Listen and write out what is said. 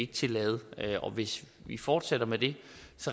tillade og hvis vi fortsætter med det